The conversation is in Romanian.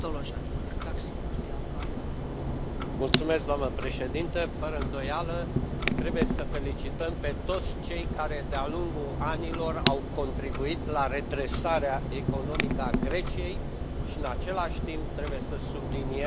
Doamnă președintă, fără îndoială, trebuie să îi felicităm pe toți cei care, de a lungul anilor, au contribuit la redresarea economică a Greciei și, în același timp, trebuie să subliniem că poporul grec este cel care,